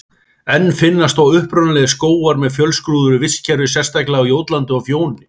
Enn finnast þó upprunalegir skógar með fjölskrúðugu vistkerfi, sérstaklega á Jótlandi og Fjóni.